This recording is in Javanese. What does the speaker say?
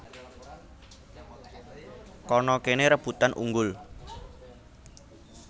Kana kene rebutan unggul